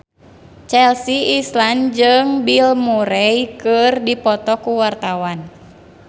Chelsea Islan jeung Bill Murray keur dipoto ku wartawan